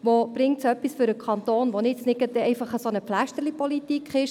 Wo bringt es dem Kanton etwas, ohne dass es einfach nur eine «Pflästerlipolitik» ist?